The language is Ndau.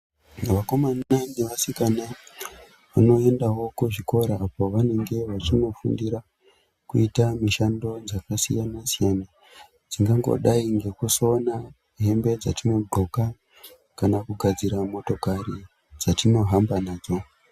Vakomana nevasikana vanoendawo kuzvikora apo vanenge wachinofundira kuita mishando dzakasiyana siyana dzingangodai ngekusona hembe dzatinogoka kana kugadzira motokari dzatinohamba nadzo.